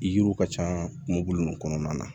Yiriw ka ca kulu nunnu kɔnɔna na